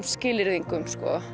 skilyrðingum